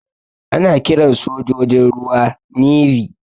Ana kiran sojojin ruwa "Navy".